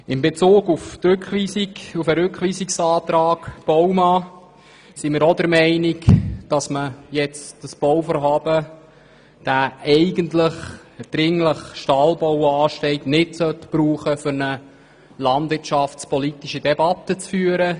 In Bezug auf den Rückweisungsantrag Baumann sind wir auch der Meinung, dass man dieses Bauvorhaben jetzt nicht dazu einsetzen soll, um eine landwirtschaftspolitische Debatte zu führen.